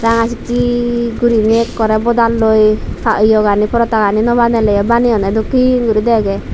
ranga sik sik gurinei akkore bodaloi yegani porota gani nobanele yo baneyonde dokken guri dege.